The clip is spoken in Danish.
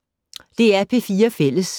DR P4 Fælles